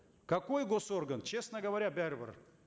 какой госорган честно говоря бәрібір